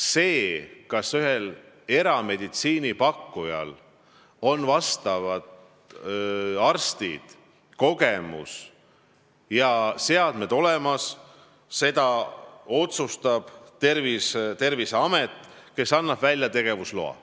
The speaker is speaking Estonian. Seda, kas ühel erameditsiiniteenuse pakkujal on olemas arstid, kogemus ja seadmed, otsustab Terviseamet, kes annab välja tegevusloa.